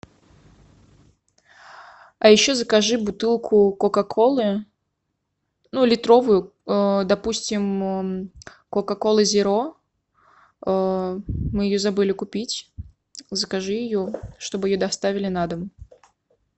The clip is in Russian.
а еще закажи бутылку кока колы ну литровую допустим кока кола зеро мы ее забыли купить закажи ее чтобы ее доставили на дом